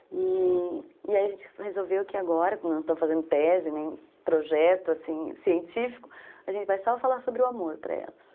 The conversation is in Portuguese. E aí a gente resolveu que agora, não estou fazendo tese, nem projeto, assim, científico, a gente vai só falar sobre o amor para elas.